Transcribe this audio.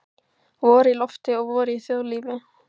Vor í lofti og vor í þjóðlífi.